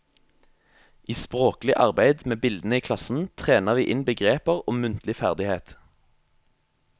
I språklig arbeid med bildene i klassen trener vi inn begreper og muntlig ferdighet.